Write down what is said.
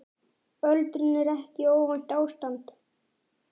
Öldrun er ekki óvænt ástand.